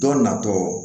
Dɔ natɔ